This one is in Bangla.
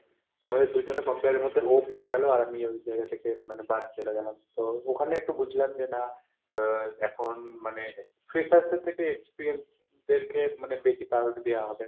আমাদের দুজনের compare এর মধ্যে ও পেয়ে গেল আর আমি ওই জায়গা থেকে মানে বাদ চলে গেলাম। তো ওখানে একটু বুঝলাম যে না আহ এখন মানে freshers এর থেকে experience দেরকে মানে বেশি priority দেওয়া হবে।